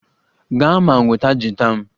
Gaa ma nweta gita m!